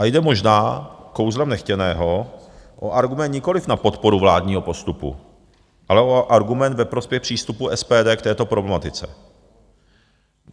A jde možná, kouzlem nechtěného, o argument nikoliv na podporu vládního postupu, ale o argument ve prospěch přístupu SPD k této problematice.